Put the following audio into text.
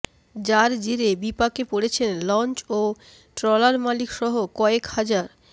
যার জেরে বিপাকে পড়েছেন লঞ্চ ও ট্রলারমালিক সহ কয়েক হাজার